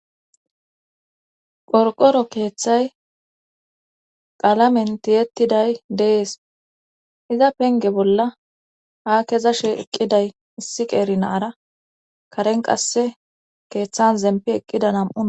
Qorqoro keeththay qalamen tiyettiday dees iza penge bolla ha keza sh eqqiday issi qeeri naara karen qasse keeththan zempi eqqida nam7u.